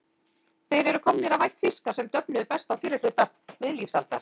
Þeir eru komnir af ætt fiska sem döfnuðu best á fyrri hluta miðlífsaldar.